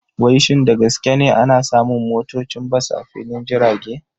Wai shin da gaske ne ana samun motocin bas a filin jirage?